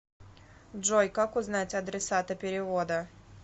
джой как узнать адресата перевода